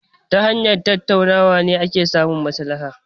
Ta hanyar tattaunawa ake samun maslaha.